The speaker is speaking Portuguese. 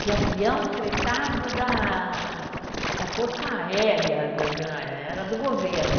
de avião fretado da da força aérea, era do governo.